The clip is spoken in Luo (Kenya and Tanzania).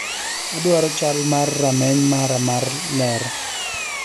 Adwaro chal mar rameny mara mar ler